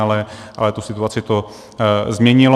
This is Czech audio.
Ale tu situaci to změnilo.